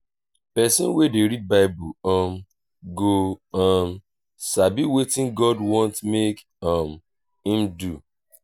pesin wey dey read bible um go um sabi wetin god want mek um im do.